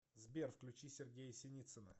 сбер включи сергея синицына